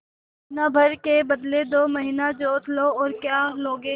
महीना भर के बदले दो महीना जोत लो और क्या लोगे